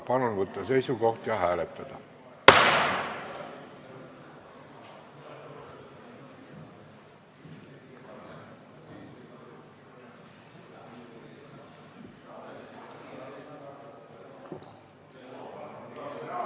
Palun võtta seisukoht ja hääletada!